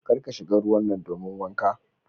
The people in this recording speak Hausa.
Kar ka shiga ruwan nan domin wanka.